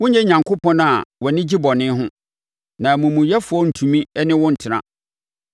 Wonyɛ Onyankopɔn a wʼani gye bɔne ho; na amumuyɛfoɔ rentumi ne wo ntena.